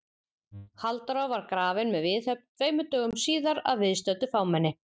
Halldóra var grafin með viðhöfn tveimur dögum síðar að viðstöddu fámenni.